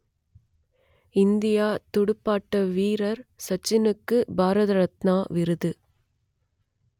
இந்திய துடுப்பாட்ட வீரர் சச்சினுக்கு பாரத ரத்னா விருது